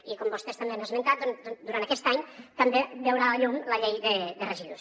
i com vostès també han esmentat durant aquest any també veurà la llum la llei de residus